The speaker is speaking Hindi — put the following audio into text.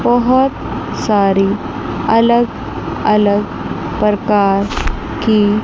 बहुत सारी अलग अलग प्रकार की--